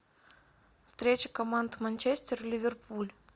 встреча команд манчестер ливерпуль